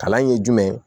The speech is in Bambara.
Kalan in ye jumɛn ye